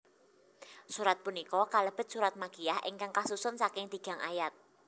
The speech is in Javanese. Surat punika kalebet surat makiyyah ingkang kasusun saking tigang ayat